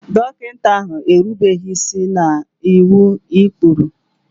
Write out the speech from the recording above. Dọkịta ahụ erubeghị isi n'iwu na ụkpụrụ.